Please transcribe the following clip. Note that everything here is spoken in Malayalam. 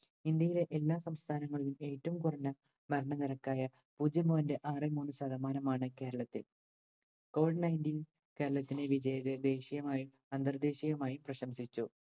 ഇന്ത്യയിലെ എല്ലാ സംസ്ഥാനങ്ങളിലും ഏറ്റവും കുറഞ്ഞ മരണ നിരക്കായ പൂജ്യം point ആറ് മൂന്ന് ശതമാനമാണ് കേരളത്തിൽ. COVIDNineteen കേരളത്തിനെ വിജയം ദേശീയമായും അന്തർദേശീയമായും പ്രശംസിച്ചു.